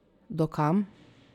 Do kam?